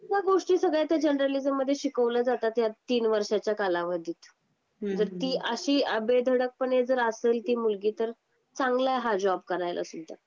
ह्या गोष्टी सगळ्या जर्नलिझम मध्ये शिकवल्या जातात ह्या तीन वर्षांच्या कालावधीत तर ती अशी आ बेधडक पण पणे जर असेल ती मुलगी तर चांगला हा जॉब करायला सुद्धा